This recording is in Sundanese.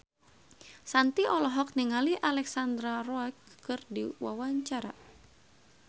Shanti olohok ningali Alexandra Roach keur diwawancara